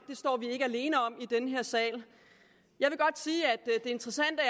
ikke alene om i den her sal det interessante